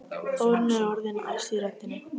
Þórunn er orðin æst í röddinni.